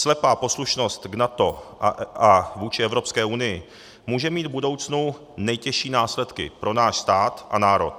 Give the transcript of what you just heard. Slepá poslušnost k NATO a vůči Evropské unii může mít v budoucnu nejtěžší následky pro náš stát a národ.